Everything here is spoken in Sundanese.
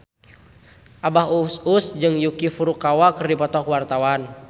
Abah Us Us jeung Yuki Furukawa keur dipoto ku wartawan